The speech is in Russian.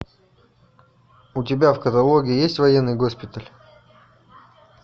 у тебя в каталоге есть военный госпиталь